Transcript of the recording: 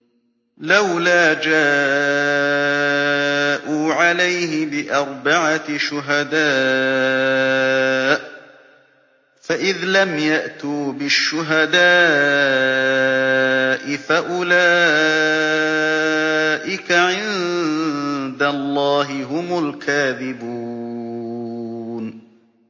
لَّوْلَا جَاءُوا عَلَيْهِ بِأَرْبَعَةِ شُهَدَاءَ ۚ فَإِذْ لَمْ يَأْتُوا بِالشُّهَدَاءِ فَأُولَٰئِكَ عِندَ اللَّهِ هُمُ الْكَاذِبُونَ